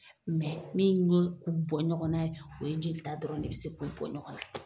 min yo u bɔ ɲɔgɔnna ye o ye jelita dɔrɔn de be se k'u bɔ ɲɔgɔn na.